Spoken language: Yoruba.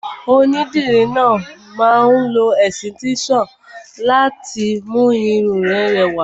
Onídìrí náà máa lo ẹ̀sìtẹ́nson náà láti mú irun rẹ rẹwà.